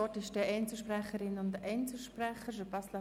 Das Wort ist bei den Einzelsprecherinnen und Einzelsprechern.